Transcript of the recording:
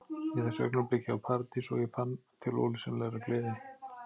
Í þessu augnabliki var Paradís og ég fann til ólýsanlegrar gleði.